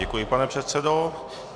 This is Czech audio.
Děkuji, pane předsedo.